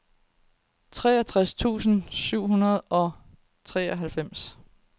treogtres tusind syv hundrede og treoghalvfems